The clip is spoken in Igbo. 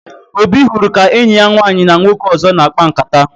Obi hụrụ ka enyi ya nwaanyị na nwoke ọzọ na-akpa nkata